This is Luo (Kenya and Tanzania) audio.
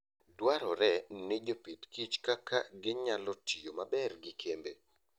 Dwarore ni jopith kich kaka ginyalo tiyo maber gi kembe.